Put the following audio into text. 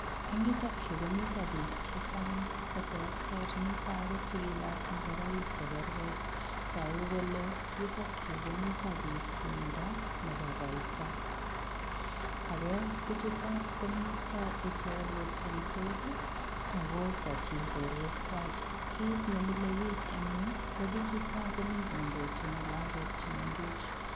Eng yutoon Yuu komitaa biik che chaang che terter mitaa biik che kalaach ingoraik che kergei taguu kole yuttaag Yuu komiteen biik tumdaa nebo kaitoi ago bichutoon komiteen icheek kotiendos ii ago isachi borwek kwaak kit ne mile biik en Yuu bichutoon komii kondojini lagook che mengech.